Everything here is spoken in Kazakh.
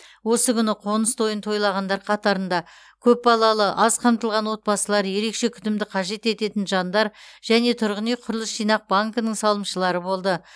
осы күні қоныс тойын тойлағандар қатарында көпбалалы аз қамтылған отбасылар ерекше күтімді қажет ететін жандар және тұрғын үй құрылыс жинақ банкінің салымшылары болды